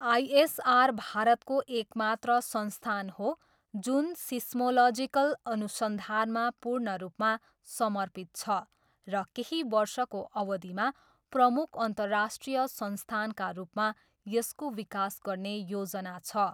आइ S R भारतको एक मात्र संस्थान हो जुन सिस्मोलजिकल अनुसन्धानमा पूर्ण रूपमा समर्पित छ र केही वर्षको अवधिमा प्रमुख अन्तर्राष्ट्रिय संस्थानका रूपमा यसको विकास गर्ने योजना छ।